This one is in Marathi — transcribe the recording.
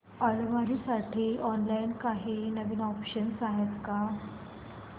अलमारी साठी ऑनलाइन काही नवीन ऑप्शन्स आहेत का